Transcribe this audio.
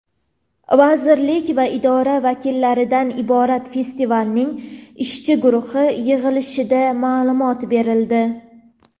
vazirlik va idoralar vakillaridan iborat festivalning ishchi guruhi yig‘ilishida ma’lumot berildi.